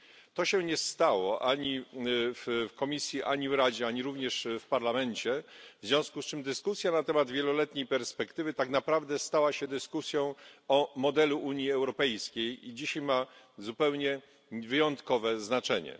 To się nie stało ani w Komisji, ani w Radzie, ani również w Parlamencie, w związku z czym dyskusja na temat wieloletniej perspektywy tak naprawdę stała się dyskusją o modelu Unii Europejskiej i dzisiaj ma zupełnie wyjątkowe znaczenie.